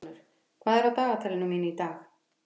Hallgunnur, hvað er á dagatalinu mínu í dag?